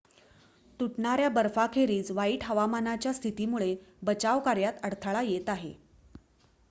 तुटणाऱ्या बर्फाखेरीज वाईट हवामानाच्या स्थितीमुळे बचाव कार्यात अडथळा येत आहे